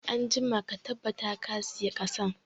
Anjima ka tabbata ka sayi ƙasan